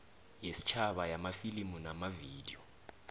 yesitjhaba yamafilimu namavidiyo